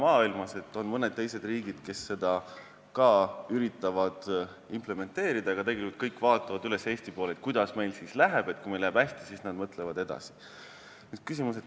On ka mõned teised riigid, kes üritavad seda implementeerida, aga tegelikult vaatavad kõik üles Eesti poole, kuidas meil läheb, ja kui meil läheb hästi, siis nad mõtlevad edasi.